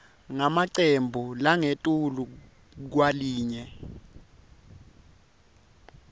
ngemacembu langetulu kwalinye